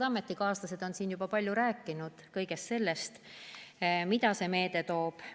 Head ametikaaslased on siin juba palju rääkinud kõigest sellest, mida see meede kaasa toob.